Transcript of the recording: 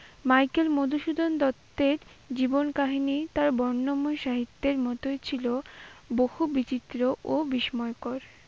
Michael Madhusudan দত্তের জীবন কাহানি তার বর্ণময় সাহিত্যের মতোই ছিল বহু বিচিত্র ও বিস্ময়কর।